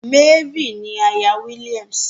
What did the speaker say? Mary ni àyà William.